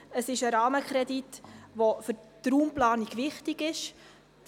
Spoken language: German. Es ist ein Rahmenkredit, der für die Raumplanung wichtig ist.